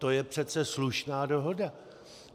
To je přece slušná dohoda!